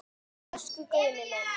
Elsku Guðni minn.